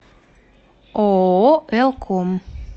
ооо элком